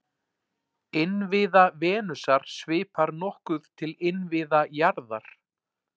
Innviða Venusar svipar nokkuð til innviða jarðar.